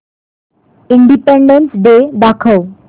independence day दाखव